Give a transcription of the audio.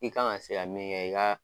I kan ka se ka min kɛ , i ka